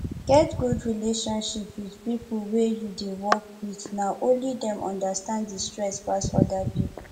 get good relationship with pipo wey you dey work with na only dem understand di stress pass oda pipo